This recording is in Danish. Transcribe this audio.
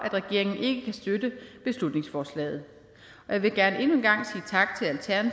at regeringen ikke kan støtte beslutningsforslaget og jeg vil gerne endnu en gang